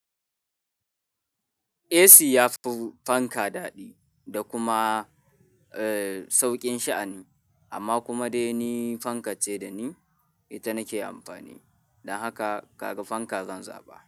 AC yafi fanka daɗi da kuma, eh sauƙin sha'ani amma kuma dai ni fanka ce da ni ita nake amfani. Don haka kaga fanka zan zaɓa.